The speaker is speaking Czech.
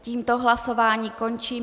Tímto hlasování končím.